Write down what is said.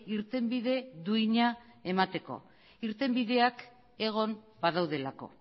irtenbide duina emateko irtenbideak egon badaudelako